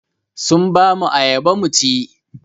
Sun ba mu ayaba mu ci.